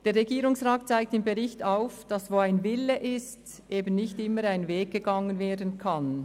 Der Regierungsrat zeigt im Bericht auf, dass auch dort, wo ein Wille vorhanden ist, der entsprechende Weg nicht immer gegangen werden kann.